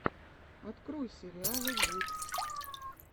открой сериалы гуд